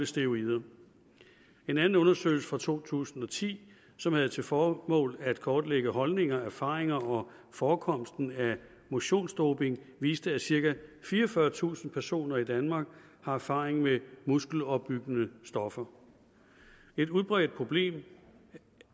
steroider en anden undersøgelse fra to tusind og ti som havde til formål at kortlægge holdninger erfaringer og forekomsten af motionsdoping viste at cirka fireogfyrretusind personer i danmark har erfaring med muskelopbyggende stoffer et udbredt problem